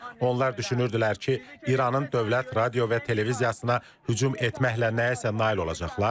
Onlar düşünürdülər ki, İranın dövlət radio və televiziyasına hücum etməklə nəyəsə nail olacaqlar.